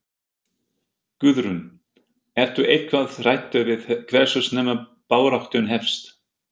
Guðrún: Ertu eitthvað hræddur við hversu snemma baráttan hefst?